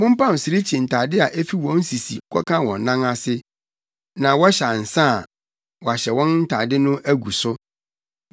“Mompam sirikyi ntade a efi wɔn sisi kɔka wɔn nan ase, na wɔhyɛ ansa a, wɔahyɛ wɔn ntade no agu so.